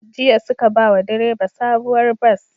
Jiya suka bawa direba sabuwar bas